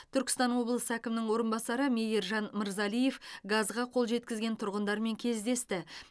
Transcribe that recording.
түркістан облысы әкімінің орынбасары меиржан мырзалиев газға қол жеткізген тұрғындармен кездесті